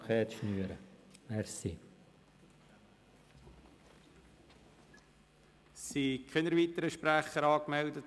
Es haben sich keine weiteren Sprecher angemeldet.